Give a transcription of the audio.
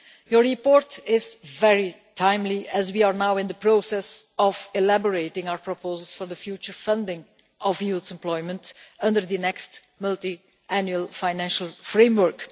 Your report is very timely as we are now in the process of elaborating our proposals for the future funding of youth employment under the next Multiannual Financial Framework.